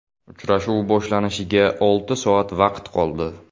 Uchrashuv boshlanishiga olti soat vaqt qoldi.